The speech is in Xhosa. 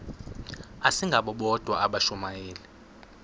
asingabo bodwa abashumayeli